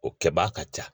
O kɛbaa ka ca